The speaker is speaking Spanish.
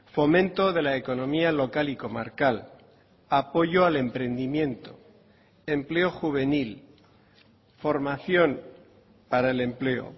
fomento de la economía local y comarcal apoyo al emprendimiento empleo juvenil formación para el empleo